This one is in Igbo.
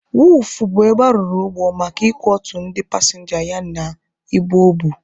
Wọọfụ bụ ebe arụrụ ụgbọ maka ị kwọtu ndị pasịnja ya na ibu o bu.